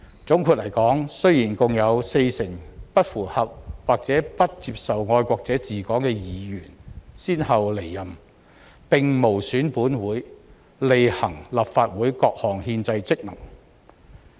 總括來說，雖然共有四成不符合或不接受"愛國者治港"原則的議員先後離任，但這無損本會履行立法會各項憲制職責。